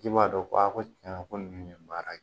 Ji b'a dɔn ko a ko tiɲɛ na ko nin ye baara kɛ